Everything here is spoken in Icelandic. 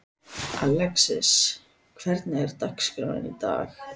Alexis, hvernig er dagskráin í dag?